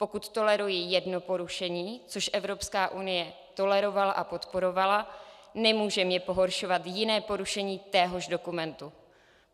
Pokud toleruji jedno porušení, což Evropská unie tolerovala a podporovala, nemůže mě pohoršovat jiné porušení téhož dokumentu.